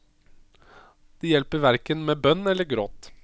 Det hjelper hverken med bønn eller gråt.